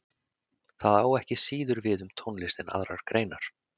Það á ekki síður við um tónlist en aðrar greinar.